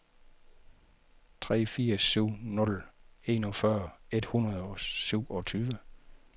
tre fire syv nul enogfyrre et hundrede og syvogtyve